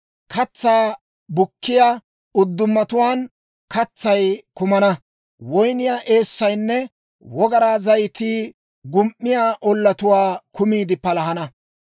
Katsaa bukkiyaa uddumatuwaan katsay kumana; woyniyaa eessaynne wogaraa zayitii gum"iyaa ollatuwaa kumiide palahana.